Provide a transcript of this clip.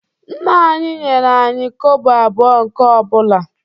Nna anyị nyere anyị kobo abụọ nke ọ bụla